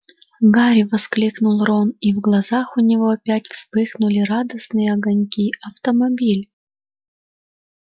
гарри воскликнул рон и в глазах у него опять вспыхнули радостные огоньки автомобиль